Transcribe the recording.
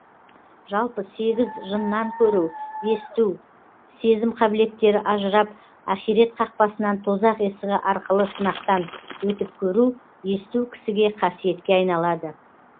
жалпы сегіз жыннан көру есту сезім қабілеттері ажырап ахирет қақпасынан тозақ есігі арқылы сынақтан өтіп көру есту кісіге қасиетке айналады